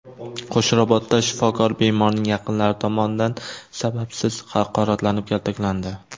Qo‘shrabotda shifokor bemorning yaqinlari tomonidan sababsiz haqoratlanib, kaltaklandi.